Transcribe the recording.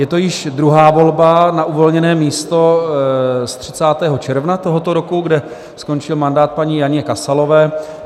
Je to již druhá volba na uvolněné místo z 30. června tohoto roku, kde skončil mandát paní Janě Kasalové.